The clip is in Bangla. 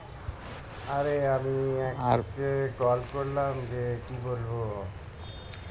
আরে আমি আজকে call করলাম যে কি বলবো